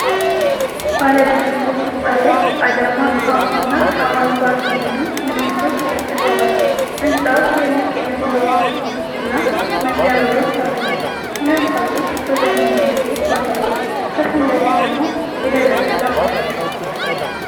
ባለ ብዙ ፎቅ ሕንፃ ላይ "አዳማ ሃውስ" እና "አዋሽ ባንክ" የሚሉ ምልክቶች ተለጥፈዋል። ሕንፃው ትልልቅ የመስታወት መስኮቶች እና መግቢያ በሮች አሉት። ሁለት ሰዎች በእግረኛ መንገድ ላይ ይጓዛሉ፤ ከፊት ለፊት ደግሞ የደረቀ ዛፍ አለ።